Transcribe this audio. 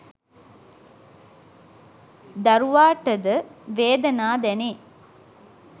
දරුවාට ද වේදනා දැනේ.